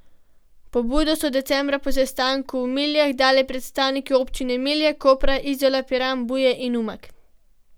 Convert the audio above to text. Pobudo so decembra po sestanku v Miljah dali predstavniki občin Milje, Koper, Izola, Piran, Buje in Umag.